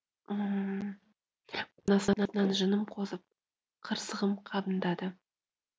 табан астынан жыным қозып қырсығым қабындады